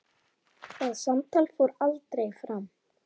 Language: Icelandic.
Það samtal fór aldrei fram.